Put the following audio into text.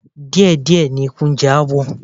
Díẹ̀díẹ̀ ni eku ń jẹ awọ